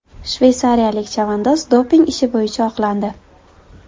Shveysariyalik chavandoz doping ishi bo‘yicha oqlandi.